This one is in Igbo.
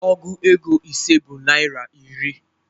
Ọgụ égo ise bụ naira iri